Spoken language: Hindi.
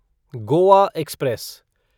गोआ एक्सप्रेस